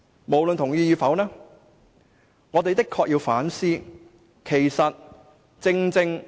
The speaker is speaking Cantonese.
無論大家同意與否，我們的確須要反思。